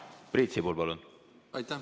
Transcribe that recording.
Priit Sibul, palun!